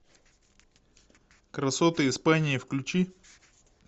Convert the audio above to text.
красоты испании включи